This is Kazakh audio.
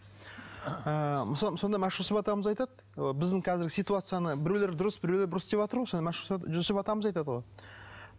ы сонда машһүр жүсіп атамыз айтады біздің қазіргі ситуацияны біреулер дұрыс біреулер бұрыс деватыр ғой соны жүсіп атамыз айтады ғой